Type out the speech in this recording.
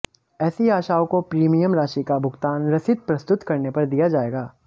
ऐसी आशाओं को प्रिमियम राशि का भुगतान रसीद प्रस्तुत करने पर दिया जाएगा